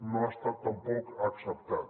no ha estat tampoc acceptat